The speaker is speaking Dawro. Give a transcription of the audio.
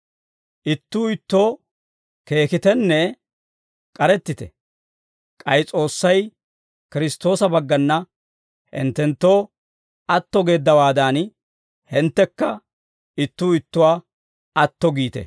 Ittuu ittoo keekitenne k'arettite; k'ay S'oossay Kiristtoosa baggana hinttenttoo atto geeddawaadan, hinttekka ittuu ittuwaa atto giite.